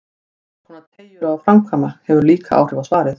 Hverskonar teygjur á að framkvæma, hefur líka áhrif á svarið.